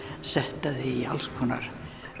sett það í alls konar